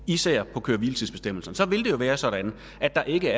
især af køre hvile tids bestemmelserne så ville være sådan at der ikke